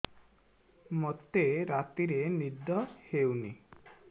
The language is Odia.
ମୋତେ ରାତିରେ ନିଦ ହେଉନି